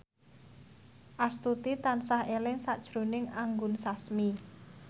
Astuti tansah eling sakjroning Anggun Sasmi